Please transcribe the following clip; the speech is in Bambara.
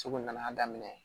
Soko nana daminɛ